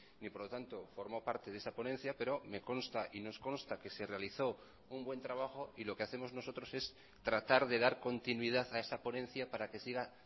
y por lo tanto formó parte de esa ponencia pero me consta y nos consta que se realizó un buen trabajo y lo que hacemos nosotros es tratar de dar continuidad a esa ponencia para que siga